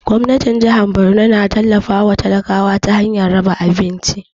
Gwamnatin jahar Borno na tallafa wa talakawa ta hanyar raba abinci